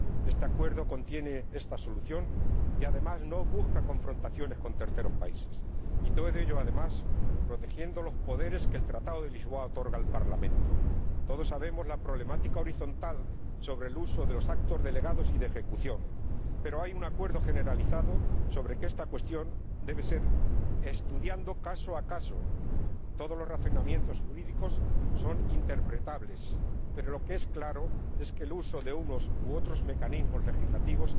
Este acuerdo contiene esta solución y además no busca confrontaciones con terceros países, y todo ello, además, protegiendo los poderes que el Tratado de Lisboa otorga al Parlamento. Todos conocemos la problemática horizontal sobre el uso de los actos delegados y de ejecución, pero hay un acuerdo generalizado según el cual esta cuestión debe ser estudiada caso por caso. Todos los razonamientos jurídicos son interpretables, pero lo que está claro es que el uso de unos u otros mecanismos legislativos